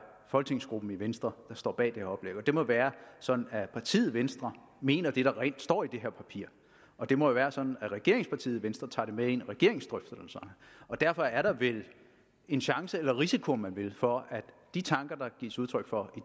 folketingsgruppen i venstre der står bag det må være sådan at partiet venstre mener det der står i det her papir det må jo være sådan at regeringspartiet venstre tager det med ind i regeringens drøftelser derfor er der vel en chance eller en risiko om man vil for at de tanker der gives udtryk for